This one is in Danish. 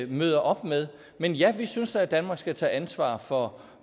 møder op med men ja vi synes da at danmark skal tage ansvar for